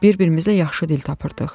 Bir-birimizlə yaxşı dil tapırdıq.